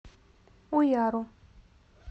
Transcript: уяру